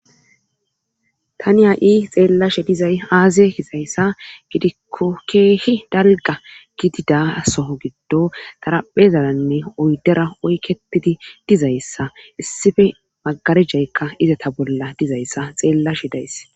Tani ha7i xeellashe dizay aaze hizayssa gidikkokeehi dalga gidida soho giddo taraphezalanne oydera oyketidi dizayssa issife magarijaykka izata bolla dizayssa xeellashe days.